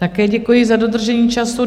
Také děkuji za dodržení času.